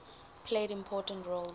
played important roles